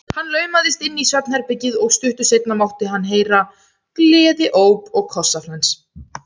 Hann laumaðist inn í svefnherbergið og stuttu seinna mátti heyra gleðióp og kossaflens.